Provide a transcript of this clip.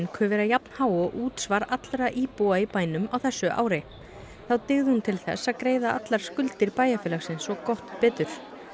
ku vera jafnhá og útsvar allra íbúa í bænum á þessu ári þá dygði hún til þess að greiða allar skuldir bæjarfélagsins og gott betur